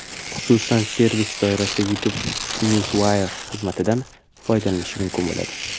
Xususan, servis doirasida YouTube Newswire xizmatidan foydalanish mumkin bo‘ladi.